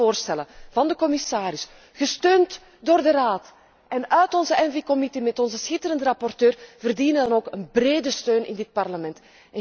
Alle voorstellen, van de commissaris, gesteund door de Raad, en van onze ENVI commissie met onze schitterende rapporteur, verdienen dan ook een brede steun in dit Parlement.